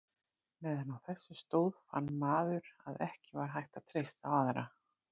Meðan á þessu stóð fann maður að ekki var hægt að treysta á aðra.